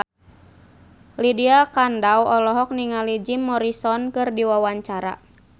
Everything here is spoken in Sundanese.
Lydia Kandou olohok ningali Jim Morrison keur diwawancara